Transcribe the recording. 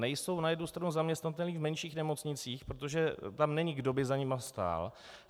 Nejsou na jednu stranu zaměstnatelní v menších nemocnicích, protože tam není, kdo by za nimi stál.